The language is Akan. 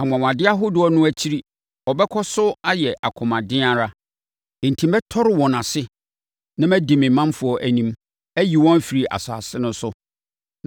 Anwanwadeɛ ahodoɔ no akyiri, ɔbɛkɔ so ayɛ akomaden ara, enti mɛtɔre wɔn ase na madi me manfoɔ anim, ayi wɔn afiri asase no so.